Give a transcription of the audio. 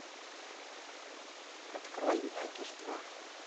открой мякиш два